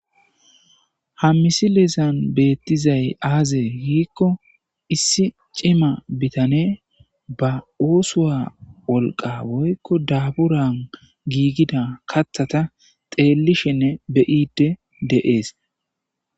Haa missilezanni bettizayi azee gikko issi cimma bitaneyi baa oththuwa wolqa woyikko daburanni gigida kaththata xellishshenne be'iddi de'ees.